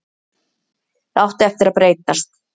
Það átti eftir að breytast.